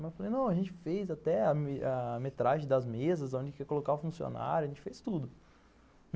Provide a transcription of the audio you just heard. Não, a gente fez até a metragem das mesas, onde quer colocar o funcionário, a gente fez tudo.